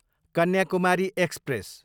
Kanyakumari express